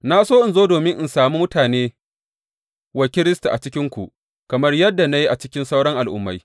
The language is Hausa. Na so in zo domin in sami mutane wa Kiristi a cikinku, kamar yadda na yi a cikin sauran Al’ummai.